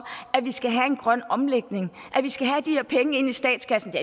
at vi skal have en grøn omlægning og at vi skal have de her penge ind i statskassen det